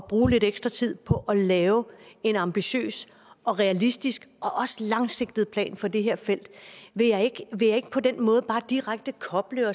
bruge lidt ekstra tid på at lave en ambitiøs og realistisk og også langsigtet plan for det her felt vil jeg ikke på den måde bare direkte koble